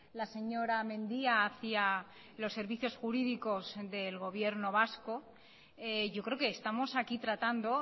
la señora mendia hacia los servicios jurídicos del gobierno vasco yo creo que estamos aquí tratando